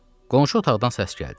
Qonşu otaqdan səs gəldi.